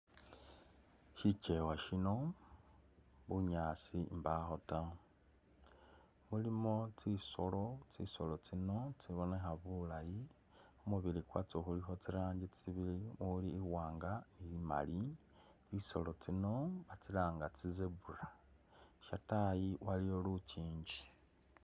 Shichewa shino bunyaasi mbakho taa mulimo tsisoolo tsisoolo tsino tsibonekha bulaayi khumubili kwatso khulikho tsiranji tsibili mulimo iwanga nimaali tsisoolo tsino batsilanga tsi'zebra shatayi waliyo luchinji